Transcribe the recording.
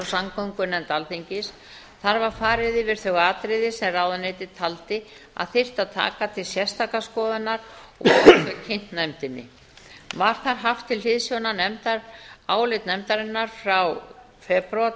samgöngunefnd alþingis þar var farið yfir þau atriði sem ráðuneytið taldi að þyrfti að taka til sérstakrar skoðunar og þau kynnt nefndinni var þar haft til hliðsjónar álit nefndarinnar frá febrúar